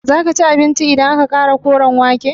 Zaka ci abincin idan na ƙara Koren wake?